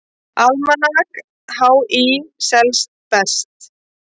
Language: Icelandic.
Almanak HÍ selst best